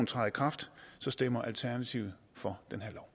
træder i kraft stemmer alternativet for